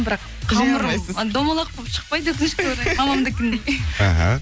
бірақ қамырым домалақ болып шықпайды өкінішке орай мамамдікіндей